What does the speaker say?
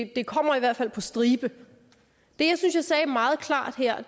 det kommer i hvert fald på stribe det jeg synes jeg sagde meget klart her